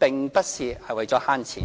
並不是為了節省金錢。